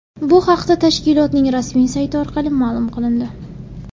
Bu haqda tashkilotning rasmiy sayti orqali ma’lum qilindi .